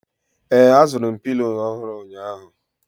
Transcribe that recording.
ee, azụrụ m Pilo ọhụrụ ụnyahụ